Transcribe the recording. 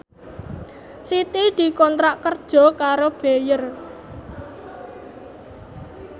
Siti dikontrak kerja karo Bayer